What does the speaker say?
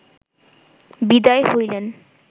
বিদায় হইলেন